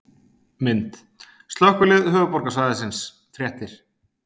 Mynd: Slökkvilið Höfuðborgarsvæðisins- Fréttir